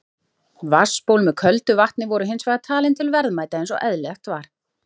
Vatnsból með köldu vatni voru hins vegar talin til verðmæta eins og eðlilegt var.